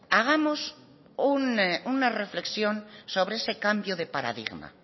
hagamos una reflexión sobre ese cambio de paradigma